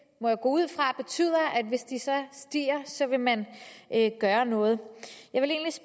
må jeg gå ud fra betyder at hvis de så stiger vil man gøre noget